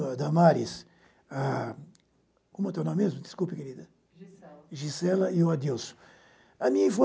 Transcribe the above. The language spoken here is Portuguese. Damaras, ah, como é teu nome mesmo, desculpe querida? Gisela Gisela e Adilson